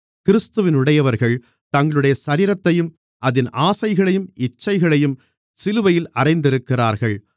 கிறிஸ்துவினுடையவர்கள் தங்களுடைய சரீரத்தையும் அதின் ஆசைகளையும் இச்சைகளையும் சிலுவையில் அறைந்திருக்கிறார்கள்